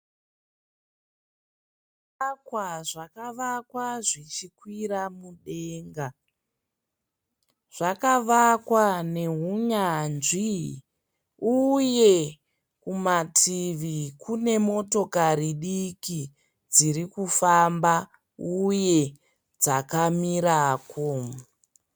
Zvivakwa zvakavakwa zvichikwira mudenga. Zvakavakwa neunyanzvi uye kumativi kune motokari diki dziri kufamba uye dzakamirako.